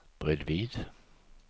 bredvid